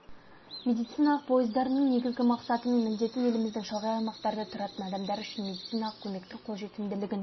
медициналық пойыздарының негізгі мақсаты мен міндеті еліміздің шалғай аймақтарда тұратын адамдар үшін медициналық көмектің қол жетімділігін